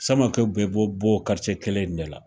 Samakɛw bɛɛ bɛ bɔ o kelen in de la.